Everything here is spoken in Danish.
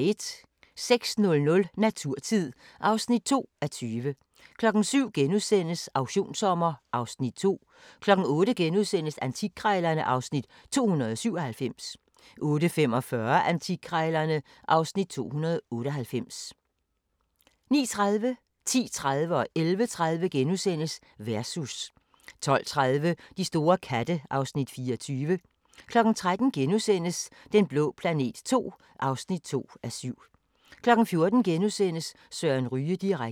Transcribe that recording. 06:00: Naturtid (2:20) 07:00: Auktionssommer (Afs. 2)* 08:00: Antikkrejlerne (Afs. 297)* 08:45: Antikkrejlerne (Afs. 298) 09:30: Versus * 10:30: Versus * 11:30: Versus * 12:30: De store katte (Afs. 24) 13:00: Den blå planet II (2:7)* 14:00: Søren Ryge direkte *